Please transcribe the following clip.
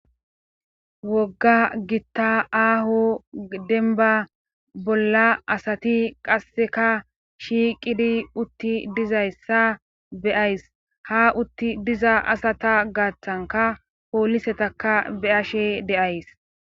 wogga gitta aaho denba bolla asati qasseka shiiqidi utti dizayssa beyays ha utti diza asata gaaththanka poolisetaka be ashe deays